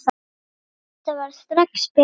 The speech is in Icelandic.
Þetta varð strax betra.